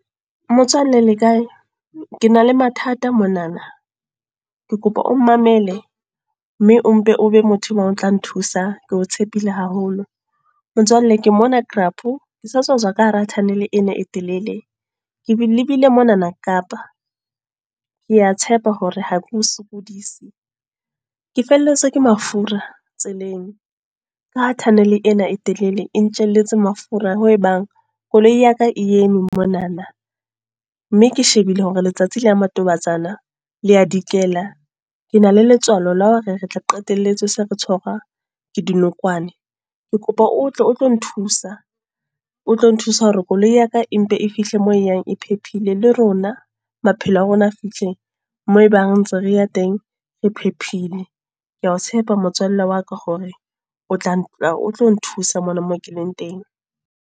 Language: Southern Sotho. Motswalle le kae? Ke na le mathata monana. Ke kopa o mmamele mme o mpe o be motho o tla nthusa, ke o tshepile haholo. Motswalle ke mona ke sa tswa ka hara tunnel ena e telele. Ke lebile monana Kapa. Kea tshepa hore ha ke o sokodise. Ke felletswe ke mafura, tseleng. Ka ha tunnel ena e telele, e ntjelletse mafura hoo e bang, koloi ya ka e eme monana. Mme ke shebile hore letsatsi la matobatsana, le a dikela. Ke na le letswalo la hore re tla qetelletse se re tshwara ke dinokwane. Ke kopa o tle o tlo nthusa, o tlo nthusa hore koloi ya ka empe e fihle moo e yang e phephile. Le rona maphelo a rona a fihle mo ebang ntse re ya teng, re phephile. Ke a tshepa motswalle wa ka hore o tlatla o tlo nthusa, mona moo ke leng teng.